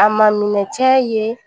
A ma minɛ cɛ ye